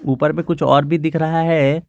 ऊपर में कुछ और दिख रहा है।